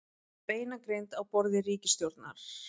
Beinagrind á borði ríkisstjórnar